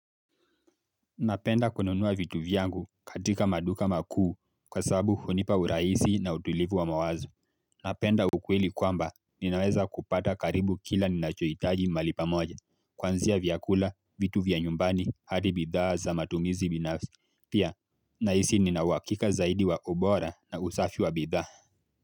Napenda kununua vitu vyangu katika maduka makuu kwa sababu hunipa uraisi na utulivu wa mawazo. Napenda ukweli kwamba ninaweza kupata karibu kila ninachohitaji mahali pamoja. Kuanzia vyakula, vitu vya nyumbani, hadi bidhaa za matumizi binafsi. Pia, nahisi nina uhakika zaidi wa ubora na usafi wa bidhaa.